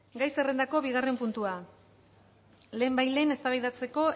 gai zerrendako bi puntua lehenbailehen eztabaidatzeko